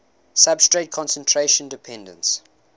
substrate concentration dependence